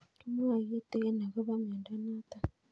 Kimwae kitig'in akopo miondo notok